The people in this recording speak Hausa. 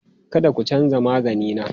Kada ku canza magani na!